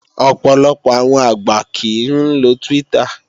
Ọ̀pọ̀lọpọ̀ àwọn àgbà kìí ń lo Twitter